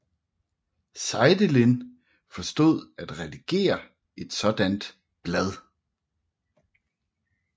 Seidelin forstod at redigere et sådant blad